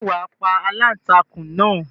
Ṣé wà á pa aláǹtakùn náà?